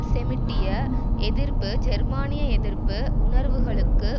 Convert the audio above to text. செமிட்டிய எதிர்ப்பு ஜேர்மானிய எதிர்ப்பு உணர்வுகளுக்கு